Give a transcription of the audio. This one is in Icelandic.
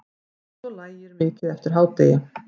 Svo lægir mikið eftir hádegi.